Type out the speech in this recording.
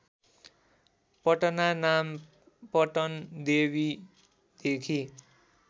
पटना नाम पटनदेवीदेखि